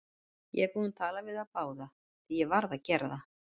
Ég er búinn að tala við þá báða, því ég varð að gera það.